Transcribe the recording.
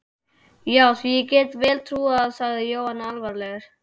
Já, því get ég vel trúað sagði Jóhann alvarlegur.